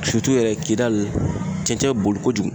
yɛrɛ kidali cɛncɛn be boli kojugu.